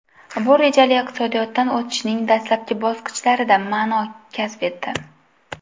Bu rejali iqtisodiyotdan o‘tishning dastlabki bosqichlarida ma’no kasb etdi.